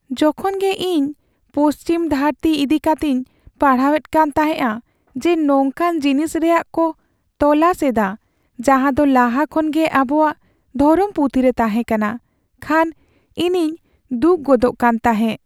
ᱡᱚᱠᱷᱚᱱ ᱜᱮ ᱤᱧ ᱯᱚᱪᱷᱤᱢ ᱫᱷᱟᱹᱨᱛᱤ ᱤᱫᱤ ᱠᱟᱛᱮᱧ ᱯᱟᱲᱦᱟᱣᱮᱫ ᱠᱟᱱ ᱛᱟᱦᱮᱸᱜᱼᱟ ᱡᱮ ᱱᱚᱝᱠᱟᱱ ᱡᱤᱱᱤᱥ ᱨᱮᱭᱟᱜ ᱠᱚ "ᱛᱚᱞᱟᱥ" ᱮᱫᱟ ᱡᱟᱦᱟᱸᱫᱚ ᱞᱟᱦᱟ ᱠᱷᱚᱱ ᱜᱮ ᱟᱵᱚᱣᱟᱜ ᱫᱷᱚᱨᱚᱢ ᱯᱩᱛᱷᱤ ᱨᱮ ᱛᱟᱦᱮᱸᱠᱟᱱᱟ, ᱠᱷᱟᱱ ᱤᱧᱤᱧ ᱫᱩᱠ ᱜᱚᱫᱚᱜ ᱠᱟᱱ ᱛᱟᱦᱮᱸᱜ ᱾